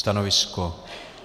Stanovisko?